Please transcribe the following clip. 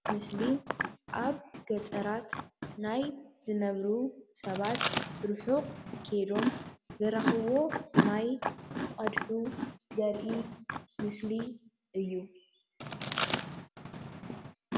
እዚ ምስሊ ኣብ ገጠራት ናይ ዝነብሩ ሰባት ርሑቅ ከይዶም ዝረክብዎ ማይ እንትቀድሑ ዘርኢ ምስሊ እዩ።